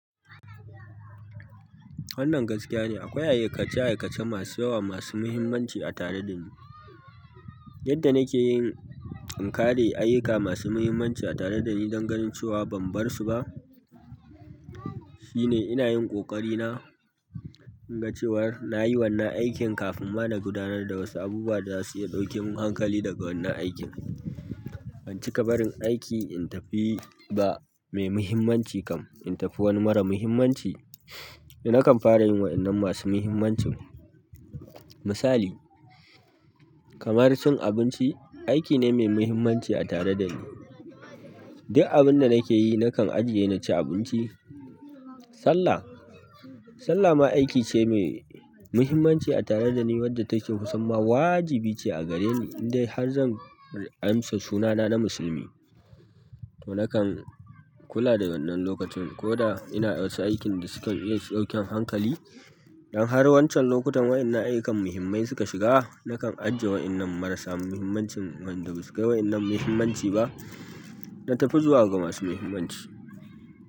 Wannan gaskiya ne. Akwai aika-aika masu yawa masu muhimmanci a tare dani. Yadda nake yin inkare ayyuka masu muhimmanci a tare da ni don ganin cewa ban bar su ba, shi ne ina yin ƙoƙar na in ga cewar na yi wannan aikin kafin ma na gudanar da wasu abubuwa da za su iya ɗauke mun hankali daga wannan aikin. Ban cika barin aiki in tafi ba mai muhimmanci kam in tafi wani mara muhimmanci. Nakan fara yin waɗannan masu muhimmancin. Misali, kamar cin abinci, aiki ne mai muhimmanci a tare da ni. Duk abin da nake yi, na kan ajiye na ci abinci. Sallah, sallah ma aiki ce mai muhimmanci a tare da ni wadda take kusan ma wajibi ce a gare ni in dai har zan amsa sunana na musulmi. To na kan kula da wannan lokacin, koda ina wasu aikin da suke iya su ɗauke min hankali idan har wancan lokutan waɗannan ayyukan muhimmai suka shiga, na kan ajiye waɗannan marasa muhimmancin waɗanda ba su kai waɗannan muhimmanci ba, na tafi zuwa ga masu muhimmanci.